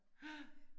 Ja